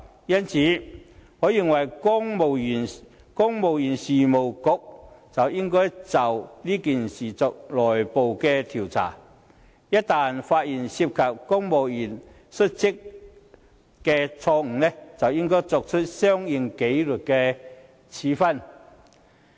因此，我認為公務員事務局應就事件進行內部調查，一旦發現涉及公務員失職，便應該作出相應的紀律處分。